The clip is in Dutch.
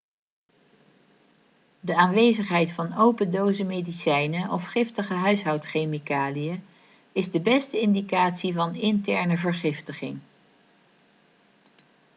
de aanwezigheid van open dozen medicijnen of giftige huishoudchemicaliën is de beste indicatie van interne vergiftiging